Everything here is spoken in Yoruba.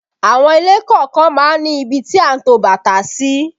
Àwọn ilé kọ̀ọ̀kan má ń ní ibi tí a ń to bàtà sí